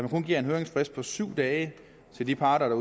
man kun giver en høringsfrist på syv dage til de parter